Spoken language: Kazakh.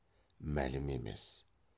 мәлім емес